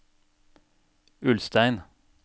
Ulstein